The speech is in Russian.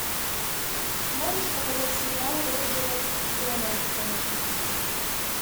можешь показать сериал роджера дональдсона